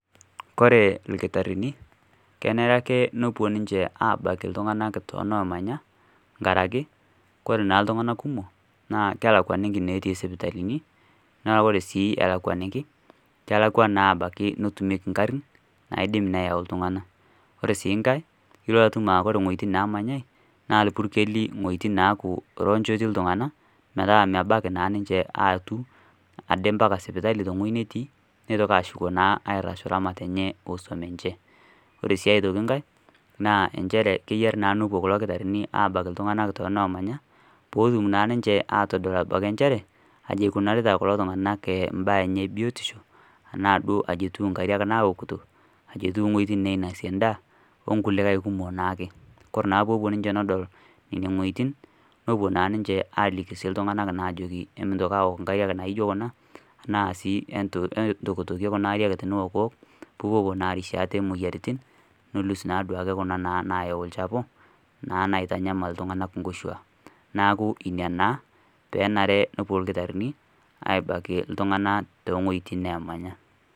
Ore ilkitarini tenerake tenepuo ninje aabaiki iltunganak toonomanya nkaraki ore naa iltunganak kumok kelakuaniki inetii isipitalini, naa ore sii ilakuaniki kelakua naa abaiki neetumieki igarin naidim neyau iltunganak. Ore sii nkae ilo atum aa ore iwotin neemanyai naa ilpurkeli wojitin neeku ronjo etii iltunganak, metaa nebaiki naa ninje aatum ade mbaka sipitali tewoji netii neitoki ashuko naa ramatare enye kuusu ninje. Ore aitoki nkae naa injere keyieu naa nepuo kulo kitarini abak iltunganak toonemanya iltunganak peetum naa ninje atodol njere aji ikunarita kuloiltunganak imbaa enye ebiotisho aji duo etiu nkariak naokito, ajeteu iwojitin neinosie endaa, onkulikae kumok naake. Ore nepuo ninje adol nene wojitin nepuo sininje aliki iltunganak mitoki aoke nkariak naijo kuna naa sii entokitokie kuna ariak niokuoko peeipopuo naa arishie ate imoyiaritin nelus naduake ake kuna nayau ilchafu naa naitanyamal iltunganak inkoshuak. Neeku ina peepuo ilkitarini abaiki iltunganak too wojitin neemanya.